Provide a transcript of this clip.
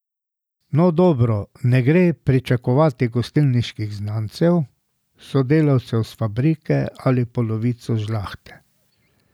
No, dobro, ne gre pričakovati gostilniških znancev, sodelavcev s fabrike ali polovice žlahte.